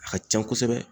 A ka can kosɛbɛ